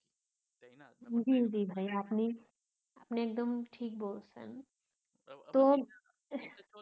জি জি ভাইয়া আপনি আপনি একদম ঠিক বলছেন তো